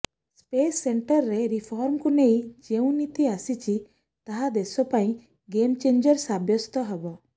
space ସେକ୍ଟରରେ ରିଫର୍ମକୁ ନେଇ ଯେଉଁ ନୀତି ଆସିଛି ତାହା ଦେଶ ପାଇଁ ଗେମ୍ ଚେଞ୍ଜର୍ ସାବ୍ୟସ୍ତ ହେବ